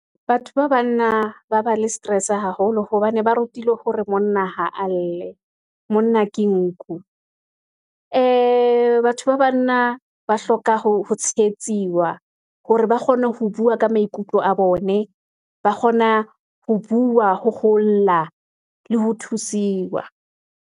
Batho ba banna ba le stress haholo, hobane ba rutilwe hore monna ha a lle, monna ke nku. Ee batho ba banna, ba hloka ho tshehetsiwa, hore ba kgone ho bua ka maikutlo a bone ba kgona ho bua, ho ho lla, le ho thusiwa.